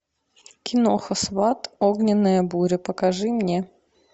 киноха сват огненная буря покажи мне